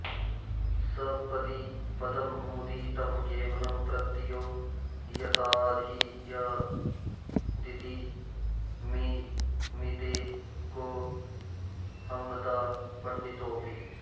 सपदि पदमुदीतं केवलः प्रत्ययो यत्तदियदिति मिमीते को ह्मदा पण्डितोपि